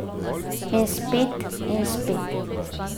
In spet in spet.